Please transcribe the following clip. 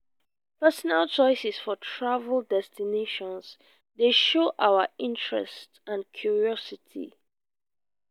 personal choices for travel destinations dey show our interests and curiosity.